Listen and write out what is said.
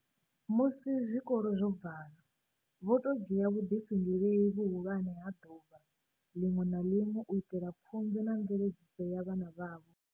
Musi zwikolo zwo valwa, vho tou dzhia vhuḓifhinduleli vhuhulwane ha ḓuvha ḽiṅwe na ḽiṅwe u itela pfunzo na mveledziso ya vhana vhavho.